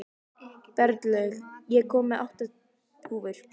Berglaug, ég kom með átta húfur!